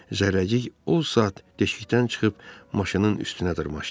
Zərrəcik o saat deşikdən çıxıb maşının üstünə dırmaşdı.